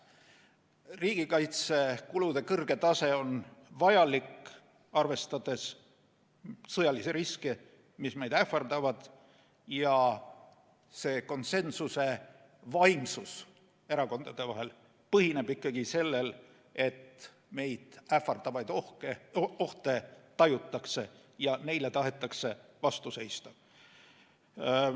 Riigikaitsekulude kõrge tase on vajalik, arvestades sõjalisi riske, mis meid ähvardavad, ja see konsensuse vaimsus erakondade vahel põhineb ikkagi sellel, et meid ähvardavaid ohte tajutakse ja neile tahetakse vastu seista.